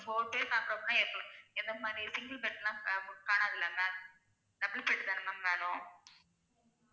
Four days தங்கணும்னா எப்ப எந்த மாதிரி single bed லா கா~ கானாதுலாங்க double bed தான ma'am வேணும்